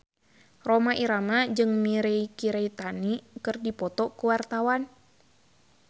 Rhoma Irama jeung Mirei Kiritani keur dipoto ku wartawan